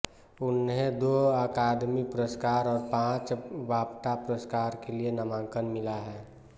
उन्हें दो अकादमी पुरस्कार और पांच बाफ्टा पुरस्कार के लिए नामांकन मिला है